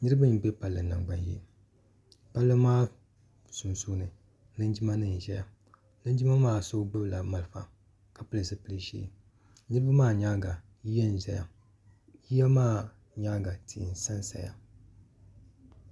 Niribi m be palli nangban yee palli maa sunsuuni linjimanim ʒeya linjima maa so gbubila malifa ka pili ziliʒee niribi maa nyaaŋa yiya n zaya yiya maa nyaaŋa tihi n sansaya.